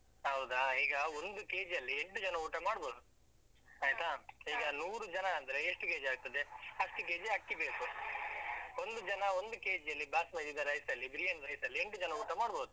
ಹೌದಾ, ಈಗ ಒಂದು KG ಅಲ್ಲಿ ಎಂಟು ಜನ ಊಟ ಮಾಡ್ಬೋದು. ನೂರು ಜನ ಅಂದ್ರೆ ಎಷ್ಟು KG ಆಗ್ತದೆ, ಅಷ್ಟು KG ಅಕ್ಕಿ ಬೇಕು. ಒಂದು ಜನ ಒಂದು KG ಯಲ್ಲಿ ಬಾಸ್ಮತಿ rice ಅಲ್ಲಿ ಬಿರಿಯಾನಿ rice ಅಲ್ಲಿ ಎಂಟು ಜನ ಊಟ ಮಾಡ್ಬೋದು.